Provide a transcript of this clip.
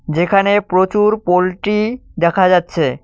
যেখানে প্রচুর পোল্ট্রি দেখা যাচ্ছে।